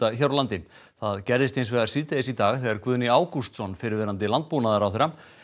hér á landi það gerðist hins vegar síðdegis í dag þegar Guðni Ágústsson fyrrverandi landbúnaðarráðherra